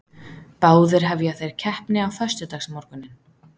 Báðir hefja þeir keppni á föstudagsmorguninn